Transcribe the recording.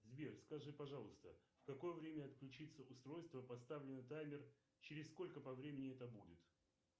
сбер скажи пожалуйста в какое время отключится устройство поставленный таймер через сколько по времени это будет